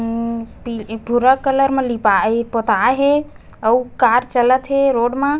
उम्म पी पी भूरा कलर मे लिपाए हे पोताए हे अऊ कार चलत हे रोड म--